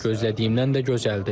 Gözlədiyimdən də gözəldir.